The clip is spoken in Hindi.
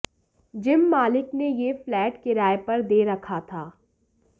जिम मालिक ने यह फ्लैट किराये पर दे रखा था